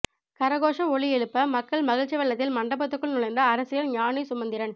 கரகோஷ ஒலி எழும்ப மக்கள் மகிழ்ச்சி வெள்ளத்தில் மண்டபத்துக்குள் நுழைந்த அரசியல் ஞானி சுமந்திரன்